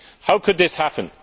How could this happen?